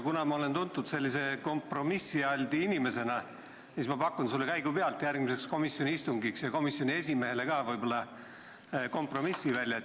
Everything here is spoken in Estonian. Kuna ma olen tuntud kompromissialti inimesena, siis ma pakun sulle ja komisjoni esimehele käigupealt järgmiseks komisjoni istungiks välja kompromissi.